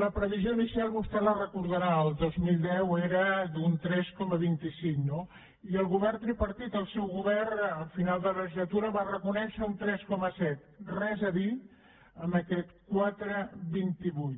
la previsió inicial vostè la deu recordar el dos mil deu era d’un tres coma vint cinc no i el govern tripartit el seu govern al final de la legislatura va reconèixer un tres coma set res a dir amb aquest quatre coma vint vuit